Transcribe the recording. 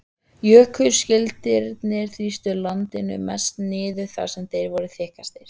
Jökulskildirnir þrýstu landinu mest niður þar sem þeir voru þykkastir.